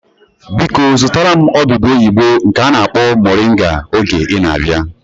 Biko zụtara m odudu oyibo nke a na-akpọ moringa oge ị na-abịa